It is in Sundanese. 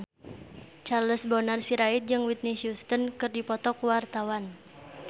Charles Bonar Sirait jeung Whitney Houston keur dipoto ku wartawan